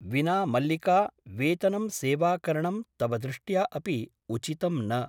विना मल्लिका वेतनं सेवाकरणं तव दृष्ट्या अपि उचितं न ।